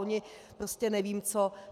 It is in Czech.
Oni prostě nevím co.